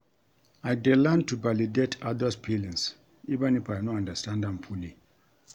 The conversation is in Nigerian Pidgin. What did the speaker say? I dey learn to validate others’ feelings even if I no understand am fully.